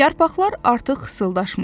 Yarpaqlar artıq xışıldaşmırdı.